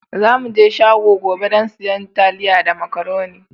Za mu je shago gobe don siyan taliya da macaroni.